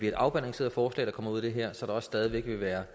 et afbalanceret forslag der kommer ud af det her så der også stadig væk vil være